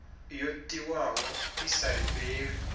yo tiwaho i sa lifhelwi